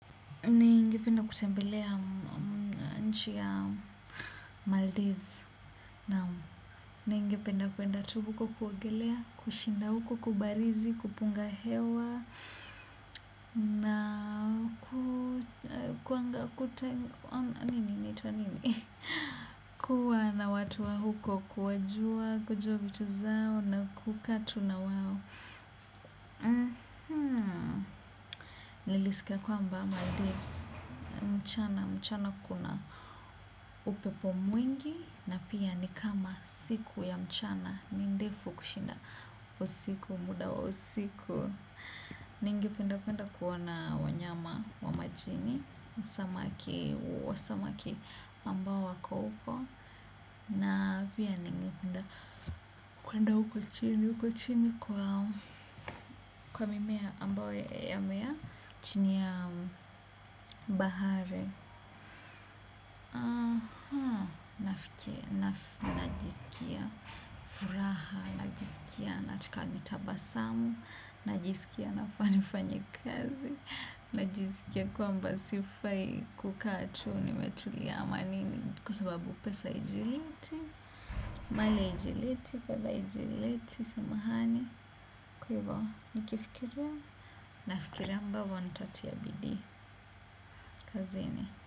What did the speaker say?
Ni ngependa kutembelea nchi ya Maldives. Na ningependa kwenda tu huko kuogelea, kushinda huko, kubarizi, kupunga hewa, na kuanga kuteng, nini inaitwa nini. Kuwa na watu wa huko kuwajua kujua vitu zao na kuka tu na wao. Nilisika kwamba Maldives. Mchana mchana kuna upepo mwingi na pia nikama siku ya mchana nindefu kushinda usiku muda wa usiku. Ninge penda penda kuona wanyama wa majini, samaki ambao wako uko na pia ninge penda kuenda uko chini uko chini kwa mimea ambao ya mea chini ya bahari. Aha, nafikia, najiskia furaha, najisikia natika nitaba samu, najisikia nafaa ni fanye kazi, najisikia kwamba sifai kukaa tu ni metulia ama nini kwa sababu pesa ijileti, mali haijileti, fedha haijileti, sumahani, kwa ivo nikifikiria, nafikiria ambavo ntatia bidii, kazini.